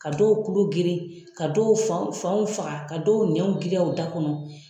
Ka dɔw kulu geren ka dɔw fanw fanw faga ka dɔw nɛnw girinya u da kɔnɔ.